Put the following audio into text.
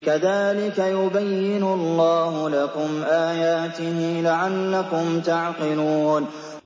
كَذَٰلِكَ يُبَيِّنُ اللَّهُ لَكُمْ آيَاتِهِ لَعَلَّكُمْ تَعْقِلُونَ